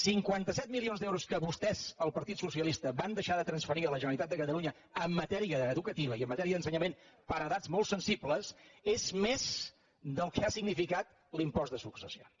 cinquanta set milions d’euros que vostès el partit socialista van deixar de transferir a la gene·ralitat de catalunya en matèria educativa i en matèria d’ensenyament per a edats molt sensibles és més del que ha significat l’impost de successions